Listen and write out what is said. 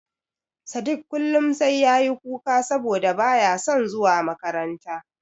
Sadik kullum sai ya yi kuka saboda ba ya son zuwa makaranta.